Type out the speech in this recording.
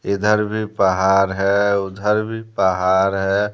इधर भी पहाड़ है उधर भी पहाड़ है।